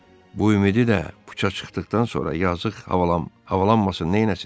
Bu ümidi də puça çıxdıqdan sonra yazıq havalanmasın, nəyləsin?